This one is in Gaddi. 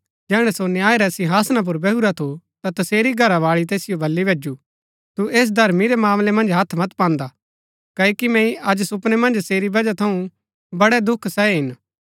जैहणै सो न्याय रै सिंहासना पुर बैहुरा थु ता तसेरी घरावाळी तैसिओ वली भैजु तू ऐस धर्मी रै मामलै मन्ज हत्थ मत पान्दा क्ओकि मैंई अज सुपनै मन्ज सेरी वजह थऊँ बड़ै दुख सहै हिन